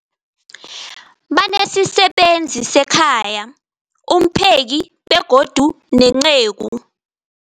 Banesisebenzi sekhaya, umpheki, begodu nenceku.